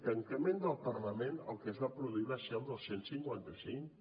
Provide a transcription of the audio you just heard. tancament del parlament el que es va produir va ser el del cent i cinquanta cinc